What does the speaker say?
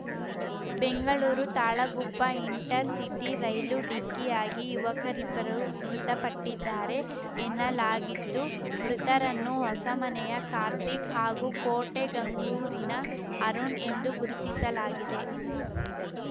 Bengaluru Talaguppa intercity ರೈಲು ಡಿಕ್ಕಿಯಾಗಿ ಯುವಕರಿಬ್ಬರು ಮೃತಪಟ್ಟಿದ್ದಾರೆ ಎನ್ನಲಾಗಿದ್ದು ಮೃತರನ್ನು ಹೊಸಮನೆಯ ಕಾರ್ತಿಕ್‌ ಹಾಗೂ ಕೋಟೆಗಂಗೂರಿನ ಅರುಣ್‌ ಎಂದು ಗುರುತಿಸಲಾಗಿದೆ